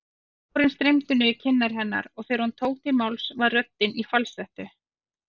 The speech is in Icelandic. Tárin streymdu niður kinnar hennar og þegar hún tók til máls var röddin í falsettu.